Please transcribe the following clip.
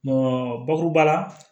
bakuruba la